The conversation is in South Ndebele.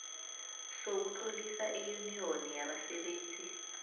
sokutlolisa iyuniyoni yabasebenzi